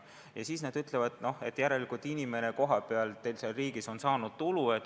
Ja veel nad ütlevad, et teie inimene seal teie riigis on saanud tulu.